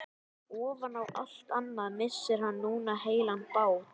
Ofan á allt annað missir hann núna heilan bát.